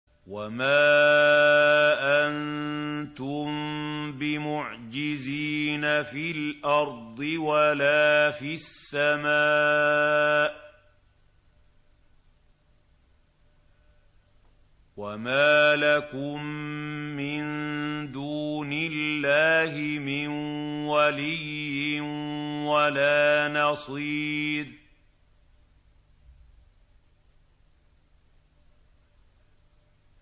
وَمَا أَنتُم بِمُعْجِزِينَ فِي الْأَرْضِ وَلَا فِي السَّمَاءِ ۖ وَمَا لَكُم مِّن دُونِ اللَّهِ مِن وَلِيٍّ وَلَا نَصِيرٍ